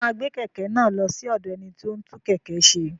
Ṣé o máa gbé kẹ̀kẹ́ náà lọ sí ọ̀dọ̀ ẹni tí ó ń tún kẹ̀kẹ́ ṣe?